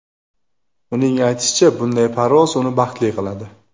Uning aytishicha, bunday parvoz uni baxtli qiladi.